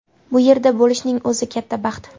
Bu yerda bo‘lishning o‘zi katta baxt.